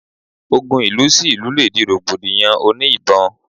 Ogun ìlú sí ìlú le di rògbòdìyàn òní ìbọn